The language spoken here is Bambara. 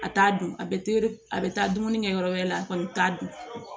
A t'a dun a bɛ tere a bɛ taa dumuni kɛ yɔrɔ wɛrɛ la a kɔni bɛ t'a dun